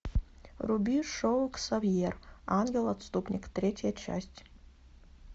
вруби шоу ксавьер ангел отступник третья часть